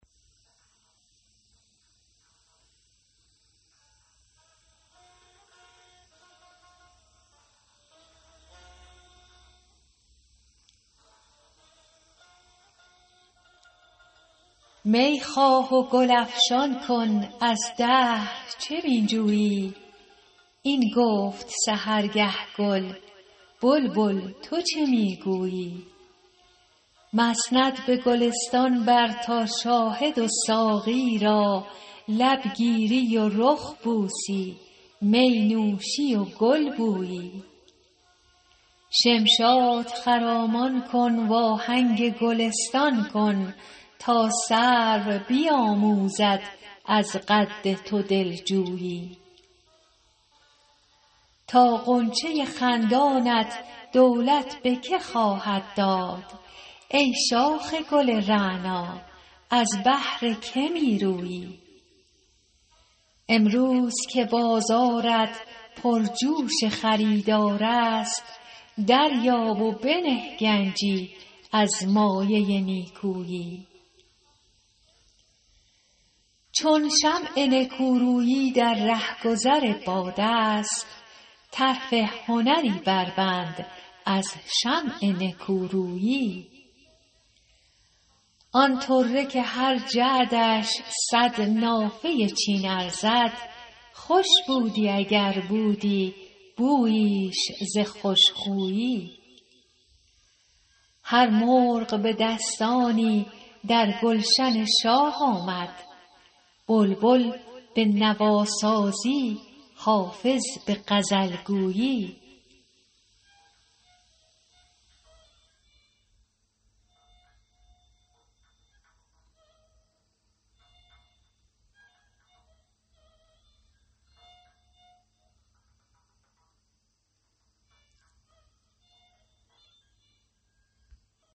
می خواه و گل افشان کن از دهر چه می جویی این گفت سحرگه گل بلبل تو چه می گویی مسند به گلستان بر تا شاهد و ساقی را لب گیری و رخ بوسی می نوشی و گل بویی شمشاد خرامان کن وآهنگ گلستان کن تا سرو بیآموزد از قد تو دل جویی تا غنچه خندانت دولت به که خواهد داد ای شاخ گل رعنا از بهر که می رویی امروز که بازارت پرجوش خریدار است دریاب و بنه گنجی از مایه نیکویی چون شمع نکورویی در رهگذر باد است طرف هنری بربند از شمع نکورویی آن طره که هر جعدش صد نافه چین ارزد خوش بودی اگر بودی بوییش ز خوش خویی هر مرغ به دستانی در گلشن شاه آمد بلبل به نواسازی حافظ به غزل گویی